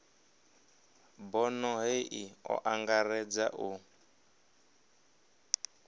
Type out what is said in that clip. bono hei o angaredza u